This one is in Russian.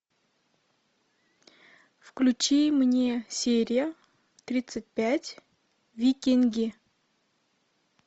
включи мне серия тридцать пять викинги